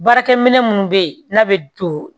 Baarakɛ minɛ minnu bɛ yen n'a bɛ don